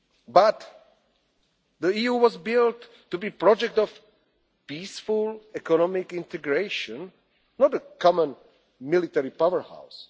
and Libya. But the EU was built to be the project of peaceful economic integration, not a common military